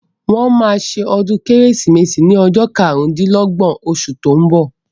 Wọ́n máa se ọdún kérésìmesì ní ọjọ́ karùndínlọ́gbọ̀n osù tó ń bọ̀